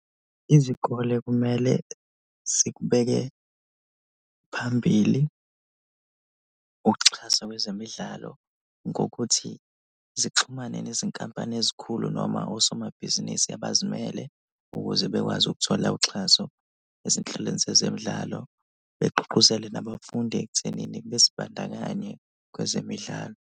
Izikole kumele zikubeke phambili ukuxhaswa kwezemidlalo ngokuthi zixhumane nezinkampani ezikhulu noma osomabhizinisi abazimele ukuze bekwazi ukuthola uxhaso ezinhlelweni zezemidlalo, begqugqquzele nabafundi ekuthenini bezibandakanye kwezemidlalo.